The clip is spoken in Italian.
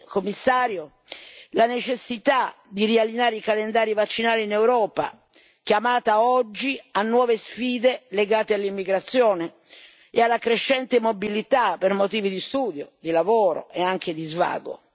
Commissario, la necessità di riallineare i calendari vaccinali in Europa, chiamata oggi a nuove sfide legate all'immigrazione e alla crescente mobilità per motivi di studio, di lavoro e anche di svago